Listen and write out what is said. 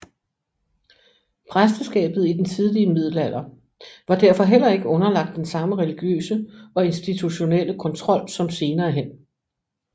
Præsteskabet i den tidlige middelalder var derfor heller ikke underlagt den samme religiøse og institutionelle kontrol som senere hen